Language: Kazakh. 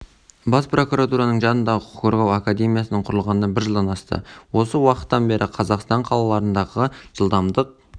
бас прокуратураның жанындағы құқық қорғау академиясының құрылғанына бір жылдан асты осы уақыттан бері қазақстан қалаларындағы жылдамдық